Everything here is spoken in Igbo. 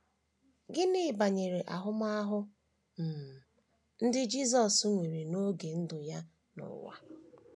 Gịnị banyere ahụmahụ um ndị Jisọs nwere n’oge ndụ ya n’ụwa?